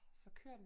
Så kører den